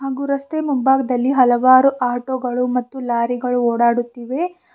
ಹಾಗೂ ರಸ್ತೆ ಮುಂಭಾಗದಲ್ಲಿ ಹಲವಾರು ಆಟೋ ಗಳು ಮತ್ತು ಲಾರಿ ಗಳು ಓಡಾಡುತ್ತಿವೆ.